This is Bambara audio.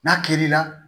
N'a kil'i la